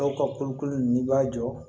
Dɔw ka kolokolo n'i b'a jɔ